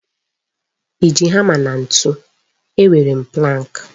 I ji hama na ntụ? E nwere m pụlank.